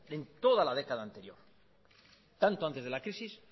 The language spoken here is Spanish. en toda la década anterior tanto antes de la crisis